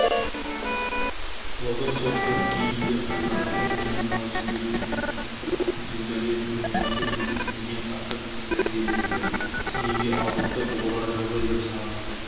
ұлы отан соғысынан кейінгі жылдары том мен новосібірден попов елизарьев нигматуллин деген аса білікті дәрігерлерді семейге алдыртып оларға жағдай жасаған